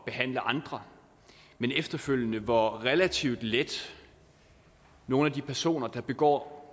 behandle andre men efterfølgende over hvor relativt let nogle af de personer der begår